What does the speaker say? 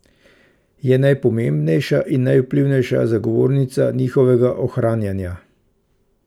Je najpomembnejša in najvplivnejša zagovornica njihovega ohranjanja.